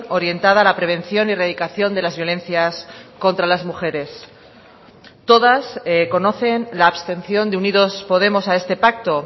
orientada a la prevención y erradicación de las violencias contra las mujeres todas conocen la abstención de unidos podemos a este pacto